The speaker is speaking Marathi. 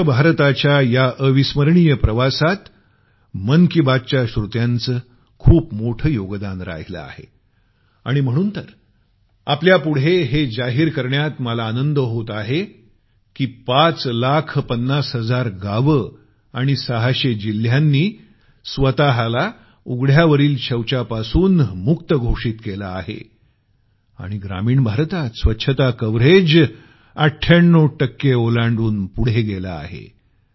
स्वच्छ भारताच्या या अविस्मरणीय प्रवासात मन की बात च्या श्रोत्यांचं खूप मोठं योगदान राहिलं आहे आणि म्हणून तर आपण सर्वापुढे हे जाहीर करण्यात मला आनंद होत आहे की पाच लाख पन्नास हजार गावं आणि 600 जिल्ह्यांनी स्वतःला उघड्यावरील शौचापासून मुक्त घोषित केलं आहे आणि ग्रामीण भारतात स्वच्छता कव्हरेज 98 टक्के ओलांडून पुढे गेलं आहे